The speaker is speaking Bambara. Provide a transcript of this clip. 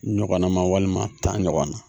Ɲɔgɔnna ma walima tan ɲɔgɔnna